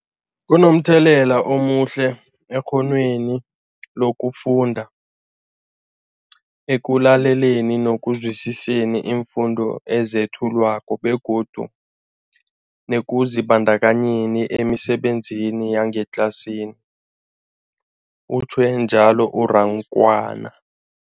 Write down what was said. Kunomthelela omuhle ekghonweni lokufunda, ekulaleleni nokuzwisiswa iimfundo ezethulwako begodu nekuzibandakanyeni emisebenzini yangetlasini, utjhwe njalo u-Rakwena.